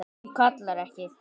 Hún kallar ekki